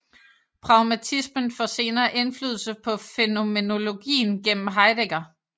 Pragmatismen får senere indflydelse på fænomenologien gennem Heidegger